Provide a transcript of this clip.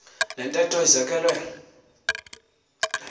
le ntetho izekelwe